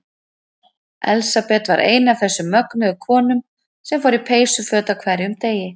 Elsabet var ein af þessum mögnuðu konum sem fór í peysuföt á hverjum degi.